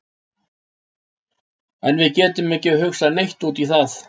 En við getum ekki hugsað neitt út í það.